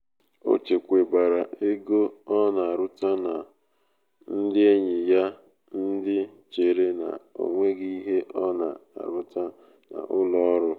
o chekwabara ego ọ na aruta na aruta n’aka ndị enyi ya ndị chere na ọnweghị ihe ọ na um aruta n'ụlọ ọrụ um